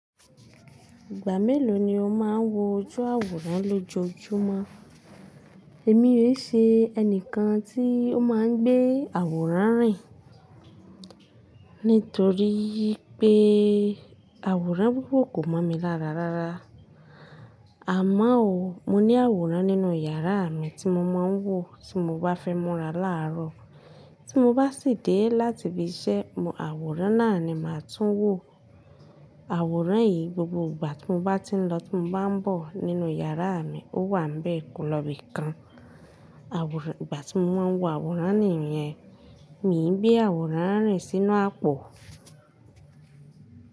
Ìgbà mélòó ni o máa ń wo ojú àwòrán lójoojúmọ́? Èmi òi ṣe ẹni kan tí ó máa ń gbé àwòrán rìn. Nítoríi pé àwòrán búbu kò mọ̀ mi lára rárá. Àmo n òó, mo ní àwòrán nínú yàrá mi tí mo máa ń wò tí mo bá fẹ́ múra láàárọ̀. Tí mo bá sì dé láti ibi iṣẹ́, àwòrán náà ni màá tún wò. Àwòrán yìí gbogbo ìgbà tí mo bá ti ń lọ tí mo bá ń bọ̀ nínú yàrá mi, ó wà nbẹ̀ kolọ́bí kan. Àwòrán, ìgbà tí mo máa ń wo àwòrán nìyẹn, mi ń gbé àwòrán rìn sínú àpò.